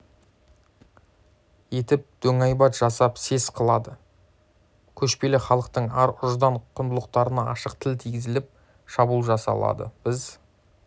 етіп дөңайбат жасап сес қылады көшпелі халықтың ар-ұждан құндылықтарына ашық тіл тигізіліп шабуыл жасалады біз